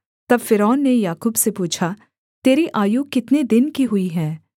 तब फ़िरौन ने याकूब से पूछा तेरी आयु कितने दिन की हुई है